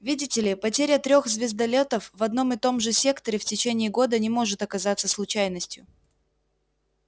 видите ли потеря трёх звездолётов в одном и том же секторе в течение года не может оказаться случайностью